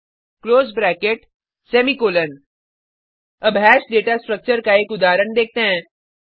close bracket semicolon अब hash data structure का एक उदाहरण देखते हैं